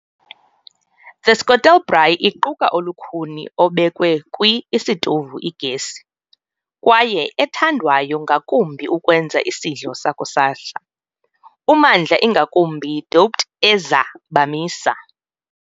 The Skottel Braai iquka olukhuni obekwe kwi isitovu igesi, kwaye ethandwayo ngakumbi ukwenza isidlo sakusasa, ummandla ingakumbi doped eza bamisa.